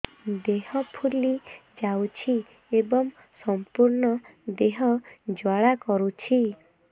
ଦେହ ଫୁଲି ଯାଉଛି ଏବଂ ସମ୍ପୂର୍ଣ୍ଣ ଦେହ ଜ୍ୱାଳା କରୁଛି